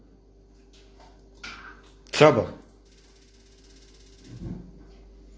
центр